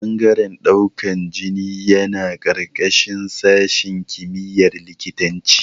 Ɓangaren ɗaukan jini yana ƙarƙashin sashin kimiyar likitanci